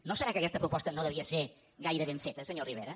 no serà que aquesta proposta no devia ser gaire ben feta senyor rivera